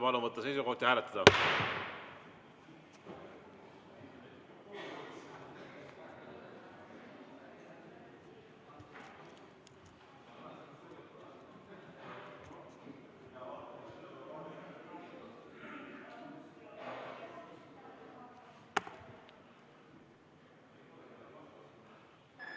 Palun võtta seisukoht ja hääletada!